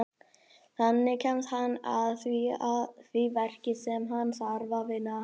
Þannig kemst hann að því verki sem hann þarf að vinna.